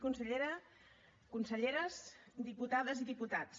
consellera conselleres diputades i diputats